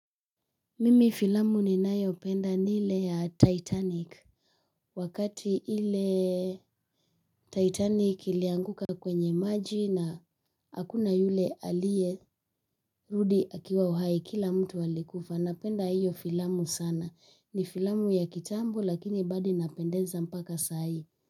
Mimi filamu ninayopenda ni ile ya titanic. Wakati ile Titanic ilianguka kwenye maji na hakuna yule aliyerudi akiwa uhai, kila mtu alikufa. Napenda hiyo filamu sana. Ni filamu ya kitambo lakini bado naipenda mpaka saai.